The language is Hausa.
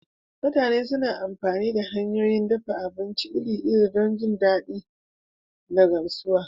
Mutane suna amfani da hanyoyin dafa abinci iri-iri don jin daɗi da gamsuwa